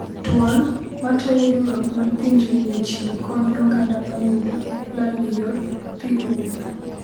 Duol ,matayo riuruok mar pinje oyie chiwo kony ne oganda moyudo lal e yor pii oula